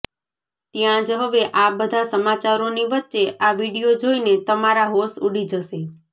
ત્યાં જ હવે આ બધા સમાચારોની વચ્ચે આ વિડીયો જોઇને તમારા હોંશ ઉડી જશે